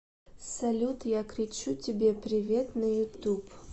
салют я кричу тебе привет на ютуб